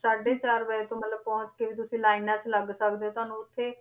ਸਾਢੇ ਚਾਰ ਵਜੇ ਤੋਂ ਮਤਲਬ ਪਹੁੰਚ ਕੇ ਵੀ ਤੁਸੀਂ ਲਾਇਨਾਂ 'ਚ ਲੱਗ ਸਕਦੇ ਹੋ ਤੁਹਾਨੂੰ ਉੱਥੇ,